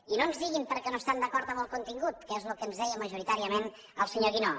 i no ens diguin perquè no estan d’acord amb el contingut que és el que ens deia majoritàriament el senyor guinó